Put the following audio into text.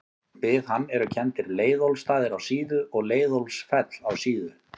Við hann eru kenndir Leiðólfsstaðir á Síðu og Leiðólfsfell á Síðu.